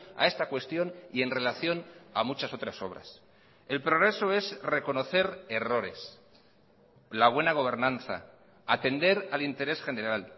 a esta cuestión y en relación a muchas otras obras el progreso es reconocer errores la buena gobernanza atender al interés general